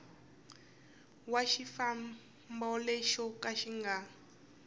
wa xifambo lexo ka xi